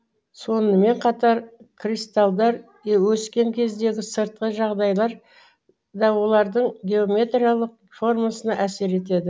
сонымен қатар кристалдар өскен кездегі сыртқы жағдайлар да олардың геометриялық формасына әсер етеді